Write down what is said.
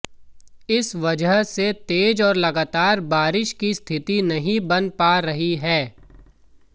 इस वजह से तेज और लगातार बारिश की स्थिति नहीं बनी पा रही है